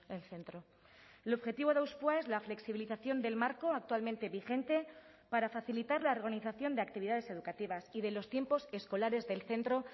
el centro el objetivo de hauspoa es la flexibilización del marco actualmente vigente para facilitar la organización de actividades educativas y de los tiempos escolares del centro